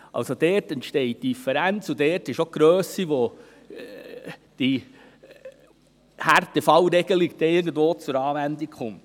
Dort entsteht die Differenz, und dort ist auch die Grösse, bei welcher die Härtefallregelung zur Anwendung kommt.